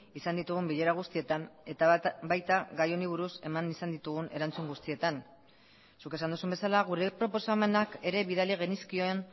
izan ditugun bilera guztietan eta baita gai honi buruz eman izan ditugun erantzun guztietan zuk esan duzun bezala gure proposamenak ere bidali genizkion